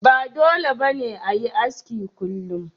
Ba dole ne ba a yi aski kullum.